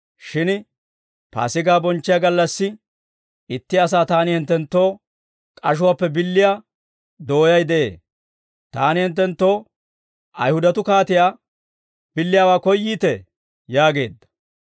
Shin Paasigaa bonchchiyaa gallassi, itti asaa taani hinttenttoo k'ashuwaappe billiyaa dooyay de'ee; taani hinttenttoo Ayihudatuu kaatiyaa billiyaawaa koyyiitee?» yaageedda.